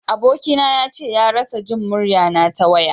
Aboki na ya ce ya rasa Jin murya na ta waya.